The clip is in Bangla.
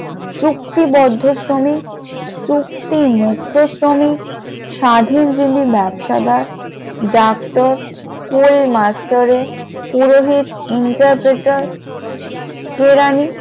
চুক্তিবদ্ধ শ্রমিক, চুক্তি মুক্ত শ্রমিক, স্বাধীনজীবী ব্যবসাদার, ডাক্তার, স্কুল মাস্টার, পুরোহিত, এন্টার পেটার, কেরানি ।